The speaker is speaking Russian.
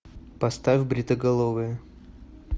поставь бритоголовые